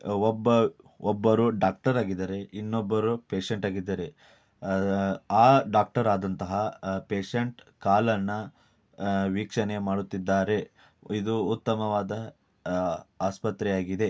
ಒಬ್ಬ ಒಬ್ಬರು ಡಾಕ್ಟರ್ ಆಗಿದಾರೆ ಇನ್ನೊಬ್ಬರು ಪೇಷಂಟ್ ಆಗಿದಾರೆ ಆಹ್ಹ್ ಆ ಡಾಕ್ಟರ್ ಆದಂತಹ ಪೇಷಂಟ್ ಕಾಲನ್ನ ಆಹ್ಹ್ ವೀಕ್ಷಣೆ ಮಾಡುತ್ತಿದ್ದಾರೆ ಇದು ಉತ್ತಮವಾದ ಆಹ್ಹ್ ಆಸ್ಪತ್ರೆಯಾಗಿದೆ.